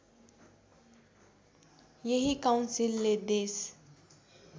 यही काउन्सिलले देश